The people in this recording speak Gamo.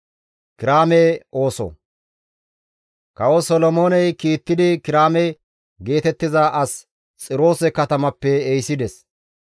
Kawo Solomooney kiittidi Kiraame geetettiza as Xiroose katamappe ehisides.